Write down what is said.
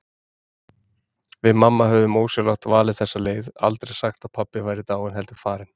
Við mamma höfðum ósjálfrátt valið þessa leið, aldrei sagt að pabbi væri dáinn, heldur farinn.